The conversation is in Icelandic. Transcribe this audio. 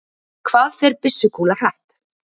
Hvað fer byssukúla hratt?